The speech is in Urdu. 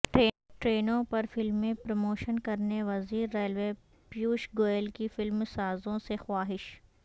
ٹرینوں پر فلمیں پروموشن کرنے وزیر ریلوے پیوش گوئل کی فلم سازوں سے خواہش